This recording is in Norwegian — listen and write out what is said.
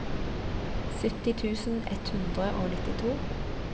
sytti tusen ett hundre og nittito